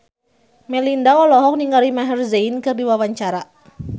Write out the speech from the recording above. Melinda olohok ningali Maher Zein keur diwawancara